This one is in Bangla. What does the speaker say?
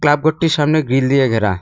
ক্লাব ঘরটির সামনে গ্রীল দিয়ে ঘেরা।